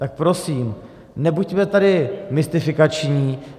Tak prosím nebuďme tady mystifikační.